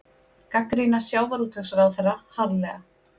Gagnrýna sjávarútvegsráðherra harðlega